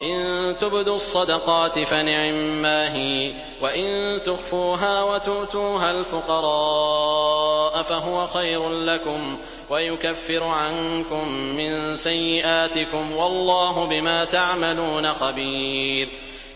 إِن تُبْدُوا الصَّدَقَاتِ فَنِعِمَّا هِيَ ۖ وَإِن تُخْفُوهَا وَتُؤْتُوهَا الْفُقَرَاءَ فَهُوَ خَيْرٌ لَّكُمْ ۚ وَيُكَفِّرُ عَنكُم مِّن سَيِّئَاتِكُمْ ۗ وَاللَّهُ بِمَا تَعْمَلُونَ خَبِيرٌ